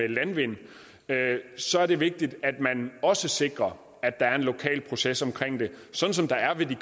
landvindmøller så er det vigtigt at man også sikrer at der er en lokal proces omkring det sådan som der er i